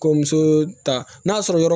Kɔmuso ta n'a sɔrɔ yɔrɔ